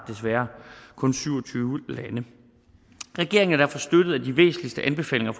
kun er syv og tyve lande regeringen har støttet at de væsentligste anbefalinger